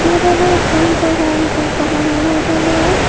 yot oleh ekkan teh dogananot oleh.